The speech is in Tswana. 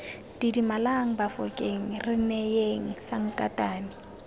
didimalang bafokeng re neyeng sankatane